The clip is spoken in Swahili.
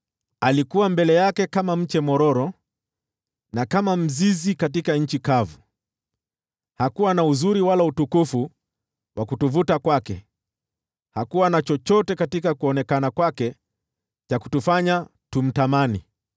Alikua mbele yake kama mche mwororo na kama mzizi katika nchi kavu. Hakuwa na uzuri wala utukufu wa kutuvutia kwake, hakuwa na chochote katika sura yake cha kutufanya tumtamani.